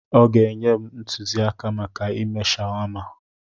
Ọ ga-enye m ntụzịaka maka ịme shawama.